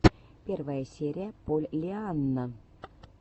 первая серия поллианна